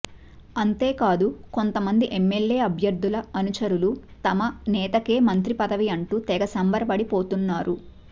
అంతేకాదు కొంతమంది ఎమ్మెల్యే అభ్యర్థుల అనుచరులు తమ నేతకే మంత్రి పదవి అంటూ తెగ సంబరపడిపోతున్నారు